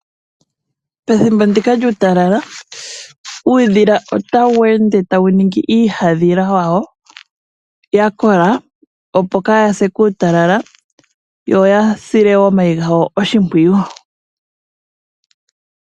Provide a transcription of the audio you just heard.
Pethimbo ndika lyuutalala uudhila ota wende tawu ningi iihadhila yawo yakola opo kayase kuutalala, yo yasile omayi gawo oshipwiyu.